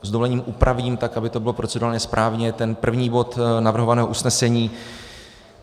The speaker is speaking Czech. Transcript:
S dovolením upravím tak, aby to bylo procedurálně správně, ten první bod navrhovaného usnesení.